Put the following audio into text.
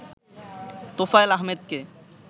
তোফায়েল আহমেদকে